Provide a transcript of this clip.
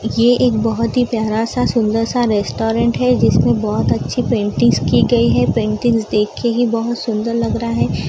ये एक बहुत ही प्यारा सा सुंदर सा रेस्टोरेंट है जिसमें बहुत अच्छी पेंटिंग्स की गई है पेंटिंग देख के ही बहुत सुंदर लग रहा है।